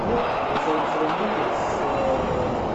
сравните с